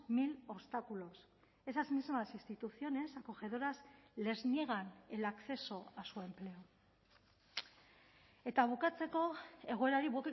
mil obstáculos esas mismas instituciones acogedoras les niegan el acceso a su empleo eta bukatzeko egoerari